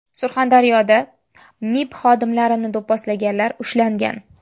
Surxondaryoda MIB xodimlarini do‘pposlaganlar ushlangan.